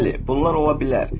Bəli, bunlar ola bilər.